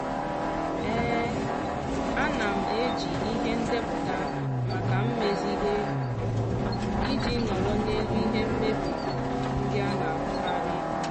ana m eji ihe ndepụta maka mmezi ihe iji nọrọ n'elu ihe mmebi ndị a na-ahụkarị.